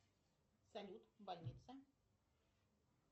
салют больница